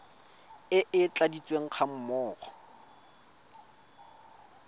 e e tladitsweng ga mmogo